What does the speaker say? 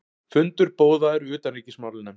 Fundur boðaður í utanríkismálanefnd